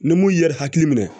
Ni mun ye yɛrɛ hakili minɛ